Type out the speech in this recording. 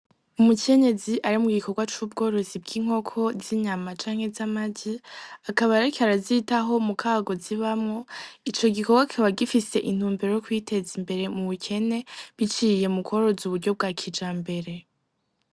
Umukenyezi ari mw gikorwa c'ubworozi bw'inkoko z'inyama canke z'amaji, akaba reke arazita ho mu kago zibamwo ico gikorwa keba gifise intumbero yo kwiteza imbere mu bukene biciriye mu kororoza uburyo bwa kija mbere.